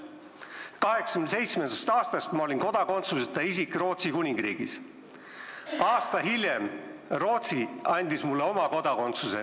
1987. aastast olin ma Rootsi Kuningriigis kodakondsuseta isik, aasta hiljem andis Rootsi mulle oma kodakondsuse.